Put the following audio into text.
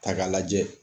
Ta k'a lajɛ